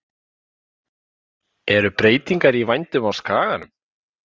Eru breytingar í vændum á skaganum?